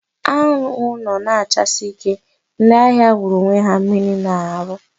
Anwụ nọ na achasi ike, ndị ahịa wụrụ onwe ha mmiri na arụ